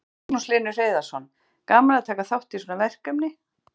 Magnús Hlynur Hreiðarsson: Gaman að taka þátt í svona verkefni?